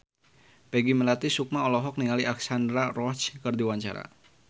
Peggy Melati Sukma olohok ningali Alexandra Roach keur diwawancara